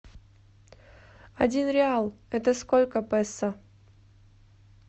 один реал это сколько песо